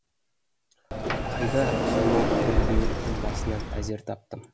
қайда сонау күрілдеуіктің басынан әзер таптым